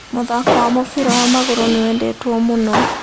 Mũthako wa mũbira wa magũrũ nĩwendetwo mũno